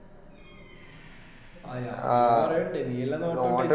ആ ഞാൻ പറയണ്ടേ നീ അല്ലെ നോട്ടം ഇട്ടേ